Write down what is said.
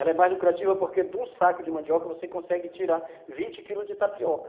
Ela é mais lucrativa porque de um saco de mandioca você consegue tirar vinte quilos de tapioca.